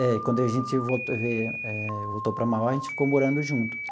É, quando a gente voltou eh voltou para Mauá, a gente ficou morando junto.